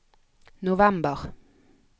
november